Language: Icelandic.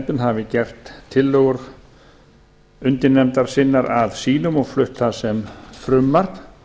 fjárveitinganefndind hafi gert tillögur undirnefndar sinnar að sínum og flutt það sem frumvarp